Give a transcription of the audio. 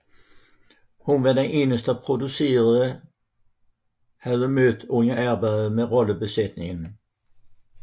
Hun var den eneste producerne havde mødt under arbejdet med rollebesætningen